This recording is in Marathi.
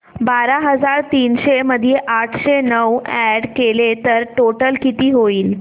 बारा हजार तीनशे मध्ये आठशे नऊ अॅड केले तर टोटल किती होईल